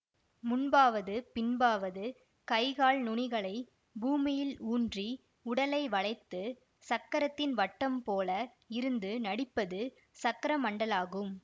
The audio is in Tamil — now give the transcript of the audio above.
முன்பாவது பின்பாவது கைகால் நுனிகளைப் பூமியில் ஊன்றி உடலை வளைத்துசக்கரத்தின் வட்டம் போல இருந்து நடிப்பது சக்கரமண்டலாகும்